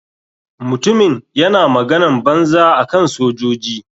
Mutumin yana maganan banza akan sojoji.